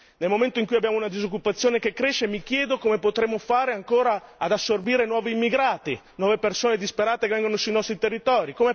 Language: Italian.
Nel momento in cui abbiamo una disoccupazione che cresce, mi chiedo come potremo fare ancora ad assorbire nuovi immigrati, nuove persone disperate che vengono sui nostri territori.